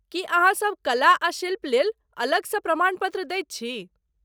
की अहाँसब कला आ शिल्प लेल अलगसँ प्रमाणपत्र दैत छी?